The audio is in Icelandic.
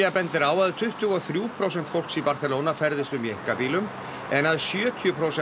bendir á að tuttugu og þrjú prósent fólks í Barcelona ferðist um í einkabílum en að sjötíu prósent